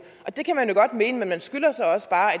og det kan man jo godt mene men man skylder så også bare at